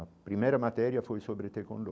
A primeira matéria foi sobre tecondô.